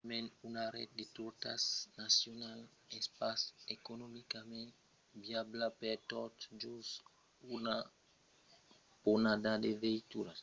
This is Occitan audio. pasmens una ret de rotas nacionalas es pas economicament viabla per tot just una ponhada de veituras e doncas de metòdes novèls de produccion son desvolopats per reduire lo còst d'èsser proprietari d'una veitura